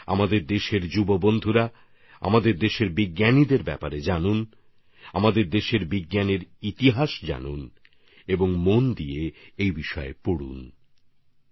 আমি অবশ্যই চাইবো আমাদের নবীন প্রজন্মও ভারতীয় বিজ্ঞানের ইতিহাস আমাদের বিজ্ঞানীদের জানুক বুঝুক এবং অনেক পড়াশুনো করুক